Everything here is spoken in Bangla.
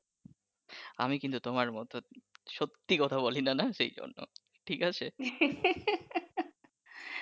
আমি কিন্তু তোমার মত সত্যি কথা বলি নাহ সেজন্য ঠিক আছে